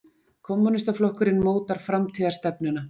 Kommúnistaflokkurinn mótar framtíðarstefnuna